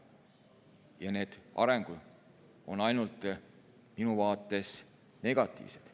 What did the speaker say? Ja need arengusuunad on minu arvates praegu ainult negatiivsed.